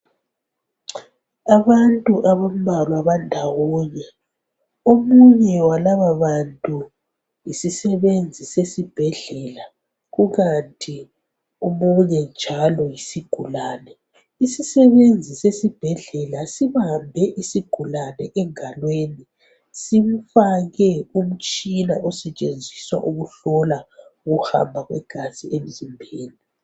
Abantu abambalwa bandawonye omunye walababantu labo yisisebenzi sesibhadlela kukanti omunye njalo yisigulane. Isisebenzi sesibhedlela sibambe isigulane engalweni simfake umtshina osetshenziswa ukuhlola ukuhamba kwegazi emzimbeni.